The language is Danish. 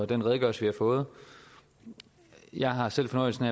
den redegørelse vi har fået jeg har selv fornøjelsen